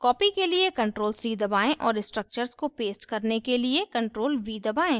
copy के लिए ctrl + c दबाएं और structures को paste करने के लिए ctrl + v दबाएं